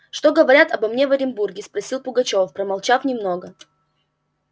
что говорят обо мне в оренбурге спросил пугачёв промолчав немного